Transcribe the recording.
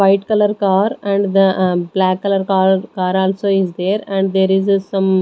white colour car and the ah black colour car car also is there and there is a some --